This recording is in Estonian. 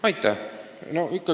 Aitäh!